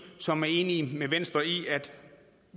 som er enige med venstre i at